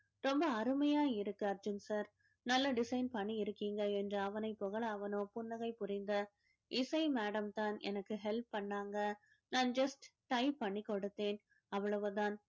ரொம்ப அருமையா இருக்கு அர்ஜுன் sir நல்லா design பண்ணி இருக்கீங்க என்று அவனை புகழ அவனோ புன்னகை புரிந்த இசை madam தான் எனக்கு help பண்ணாங்க நான் just type பண்ணி கொடுத்தேன் அவ்வளவுதான்